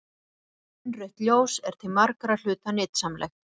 Innrautt ljós er til margra hluta nytsamlegt.